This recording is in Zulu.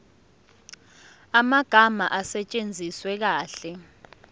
amagama asetshenziswe kahle